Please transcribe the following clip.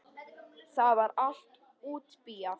Það var allt útbíað.